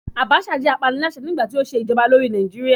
Abacha jẹ́ apaniláṣẹ́ nígbàtí ó ṣe ìjọba lórí Nàìjíríà